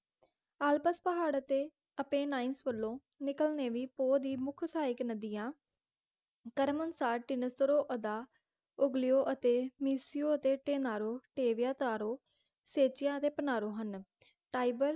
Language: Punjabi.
ਆਲਪਸ ਪਹਾੜਾਂ ਤੇ Apennies ਵਲੋਂ ਨਿਕਲਨੇਵੀ ਪੋਹ ਦੀ ਮੁਖ ਸਹਾਇਕ ਨਦੀਆ ਕ੍ਰਮਨੁਸਾਰ ਤਿਨੇਸਰੋਅਦਾ ਯੋਗਲਿਓ ਅਤੇ ਮਿਸਿਓ ਅਤੇ ਤੇਨਾਰੋ ਟੇਵਿਆਂਤਾਰੋ ਸੇਚਿਆਂ ਤੇ ਪ੍ਰਨਾਰੋ ਹਨ ਟਾਇਬਰ